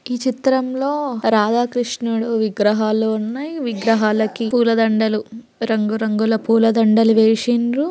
ఈ చిత్రం లో రాధ కృష్ణుడు విగ్రహాలు ఉన్నాయి. విగ్రహాలుకి పూల దండలు రంగు రంగుల పూల దండలు వేసిండ్రు.